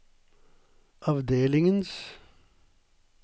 avdelingens